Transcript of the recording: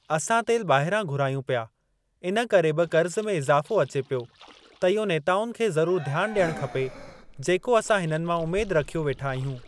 असां तेल ॿाहिरां घुरायूं पिया इन करे बि क़र्ज़ में इजाफ़ो अचे पियो त इहो नेताउनि खे ज़रूर ध्यान ॾियणु खपे जेको असां हिननि मां उमेद रखियो वेठा आहियूं।